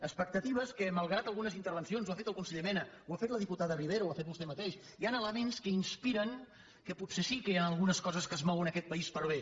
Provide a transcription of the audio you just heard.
expectatives que malgrat algunes intervencions ho ha fet el conseller mena ho ha fet la diputada ribera ho ha fet vostè mateix hi han elements que inspiren que potser sí que hi han algunes coses que es mouen en aquest país per a bé